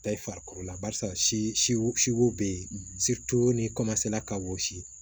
Ta i farikolo la barisaw bɛ ye ni ka wɔsi